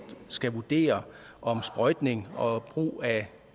skal vurdere om sprøjtning og brug af